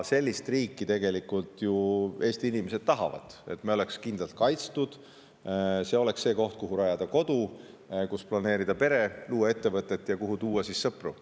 Sellist riiki Eesti inimesed ju tegelikult tahavad – et me oleksime kindlalt kaitstud, et see oleks see koht, kuhu rajada kodu, planeerida peret, luua ettevõtet ja kuhu tuua sõpru.